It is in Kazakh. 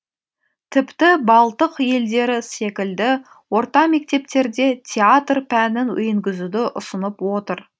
тіпті балтық елдері секілді орта мектептерде театр пәнін енгізуді ұсынып отыр